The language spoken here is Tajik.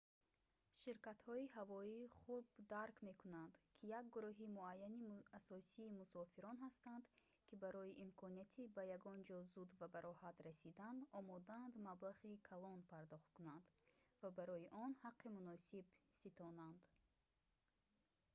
ширкатҳои ҳавоӣ хуб дарк мекунанд ки як гурӯҳи муайяни асосии мусофирон ҳастанд ки барои имконияти ба ягонҷо зуд ва бароҳат расидан омодаанд маблағи калон пардохт кунанд ва барои он ҳаққи муносиб ситонанд